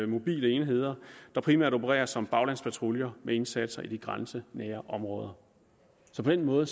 mobile enheder der primært opererer som baglandspatruljer med indsatser i de grænsenære områder så på den måde